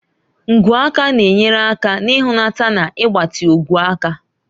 Ngwu aka na-enyere aka n'ihulata na ịgbatị ogwe aka.